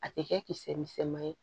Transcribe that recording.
A tɛ kɛ kisɛ misɛnman ye